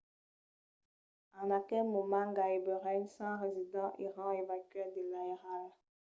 en aquel moment gaireben 100 residents èran evacuats de l’airal